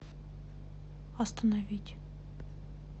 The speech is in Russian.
остановить